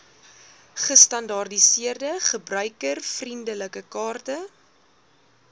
gestandaardiseerde gebruikervriendelike kaarte